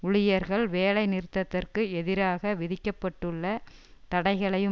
ஊழியர்கள் வேலை நிறுத்தத்திற்கு எதிராக விதிக்க பட்டுள்ள தடைகளையும்